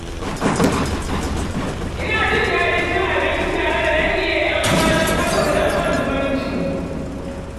Ina jin daɗin cin abinci tare da dangi da ƴan uwa don ƙarfafa danƙon zumunci